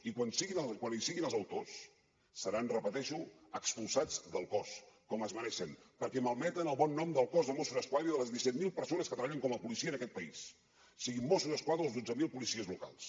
i quan hi siguin els autors seran ho repeteixo expulsats del cos com es mereixen perquè malmeten el bon nom del cos de mossos d’esquadra i de les disset mil persones que treballen com a policia en aquest país siguin mossos d’esquadra o els dotze mil policies locals